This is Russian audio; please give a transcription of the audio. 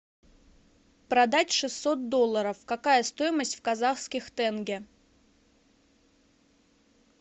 продать шестьсот долларов какая стоимость в казахских тенге